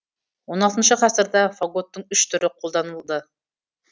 он алтыншы ғасырда фаготтың үш түрі қолданылды